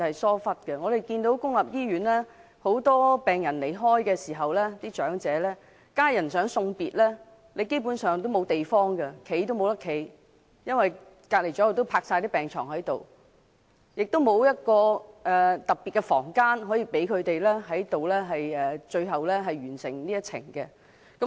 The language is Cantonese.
當身處公立醫院的長者病人離世時，他們的家人連送別及站立的地方也沒有，因為身旁已放滿病床，而且醫院不設特別房間，讓他們完成人生的最後一程。